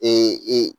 Ee